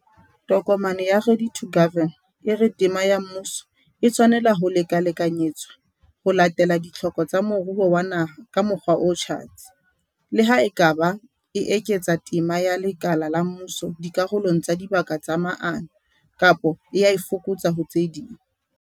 Tokomane ya 'Ready to Govern' e re tema ya mmuso "e tshwanela ho lekalekanyetswa ho latela ditlhoko tsa moruo wa naha ka mokgwa o tjhatsi", le ha e ka ba e eketsa tema ya lekala la mmuso dikarolong tsa dibaka tsa maano, kapa e a e fokotsa ho tse ding.